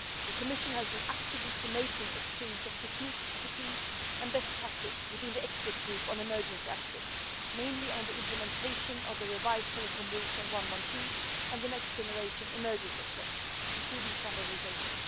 The Commission has been actively promoting the exchange of technical expertise and best practice within the Expert Group on Emergency Access, mainly on the implementation of the revised telecom rules on 112 and next generation emergency access, including standardisation.